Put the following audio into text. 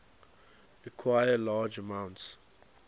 require large amounts